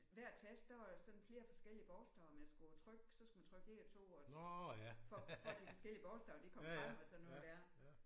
Hver tast der var der sådan flere forskellige bogstaver man skulle trykke så skulle man trykke 1 og 2 og for for at de forskellige bogstaver de kom frem og sådan noget der